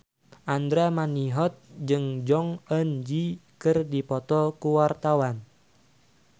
Andra Manihot jeung Jong Eun Ji keur dipoto ku wartawan